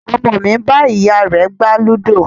Ọmọ mi ń bá ìyá rẹ gbá ludo